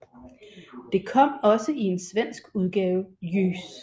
Det kom også i en svensk udgave Ljus